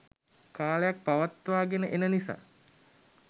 කාලයක් පවත්වා ගෙන එන නිසා